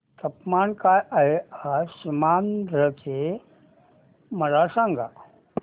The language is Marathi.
तापमान काय आहे आज सीमांध्र चे मला सांगा